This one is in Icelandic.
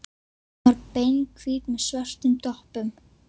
Hún var beinhvít með svörtum doppum.